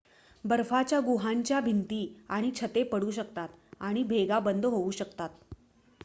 बर्फाच्या गुहांच्या भिंती आणि छते पडू शकतात आणि भेगा बंद होऊ शकतात